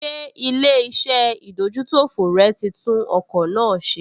Ṣé ilé-iṣẹ́ ìdójútòfò rẹ̀ tí tún ọkọ̀ náà ṣe?